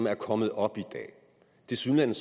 er kommet op i dag tilsyneladende